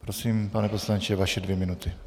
Prosím, pane poslanče, vaše dvě minuty.